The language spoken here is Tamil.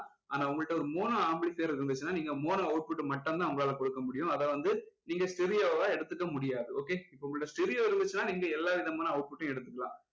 ஆனா உங்க கிட்ட ஒரு mono amplifier இருந்துச்சுன்னா நீங்க mono output அ மட்டும் தான் உங்களால கொடுக்க முடியும் அதை வந்து நீங்க stereo வா எடுத்துக்க முடியாது okay இப்போ உங்ககிட்ட stereo இருந்துச்சுனா நீங்க எல்லாம் விதமான output டையும் எடுத்துக்கலாம்